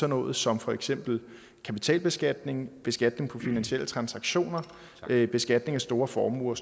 noget som for eksempel kapitalbeskatning beskatning af finansielle transaktioner beskatning af store formuer